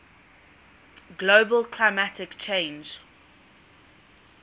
global climate change